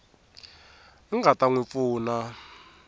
nga ta n wi pfuna